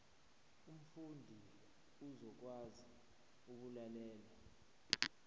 umfundi uzokwazi ukulalela